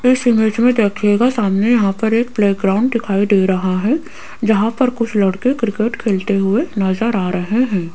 इस इमेज मे देखियेगा सामने यहां पर एक प्लेग्राउंड दिखाई दे रहा है जहां पर कुछ लड़के क्रिकेट खेलते हुए नजर आ रहे है।